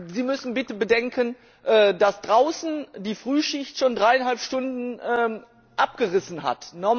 Sie müssen bitte bedenken, dass draußen die Frühschicht schon dreieinhalb Stunden abgerissen hat.